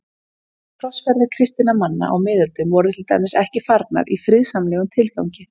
Krossferðir kristinna manna á miðöldum voru til dæmis ekki farnar í friðsamlegum tilgangi.